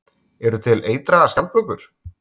Eru til eitraðar skjaldbökur?